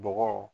Bɔgɔ